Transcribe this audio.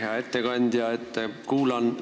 Hea ettekandja!